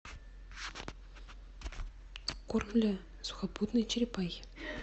корм для сухопутной черепахи